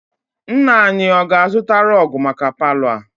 Nna anyi, ọ ga-azụta rọg maka palọ a?